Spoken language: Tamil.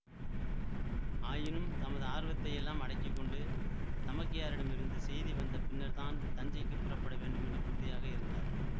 ஆயினும் தமது ஆர்வத்தை யெல்லாம் அடக்கி கொண்டு தமக்கையாரிடமிருந்து செய்தி வந்த பின்னர்தான் தஞ்சைக்கு புறப்பட வேண்டுமென்று உறுதியாக இருந்தார்